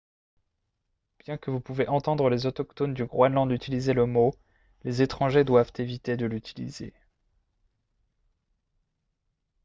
bien que vous pouvez entendre les autochtones du groenland utiliser le mot les étrangers doivent éviter de l'utiliser